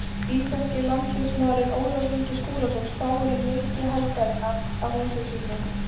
Íslenski landsliðsmaðurinn Ólafur Ingi Skúlason spáir í leiki helgarinnar að þessu sinni.